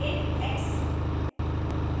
int x;